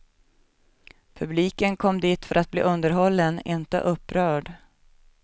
Publiken kom dit för att bli underhållen, inte upprörd.